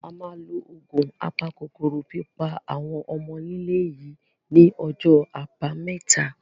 A máa lo ògùn apakòkòrò fi pa àwọn ọmọnílé yìí ní ọjọ́ àbámẹ́ta.